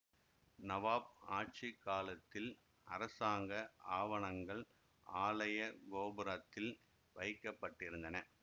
நவாப் ஆட்சி காலத்தில் அரசாங்க ஆவணங்கள் ஆலய கோபுரத்தில் வைக்க பட்டிருந்தன